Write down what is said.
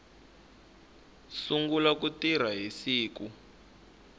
sungula ku tirha hi siku